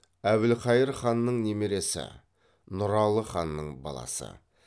әбілқайыр ханның немересі нұралы ханның баласы